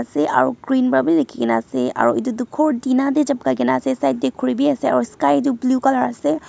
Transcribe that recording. Ase aro green para bhi lekhikina ase aro etu toh ghor tina dae chapkaikena ase side dae khuri bhi ase aro sky tuh blue colour ase.